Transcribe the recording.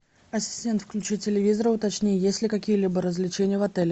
ассистент включи телевизор и уточни есть ли какие либо развлечения в отеле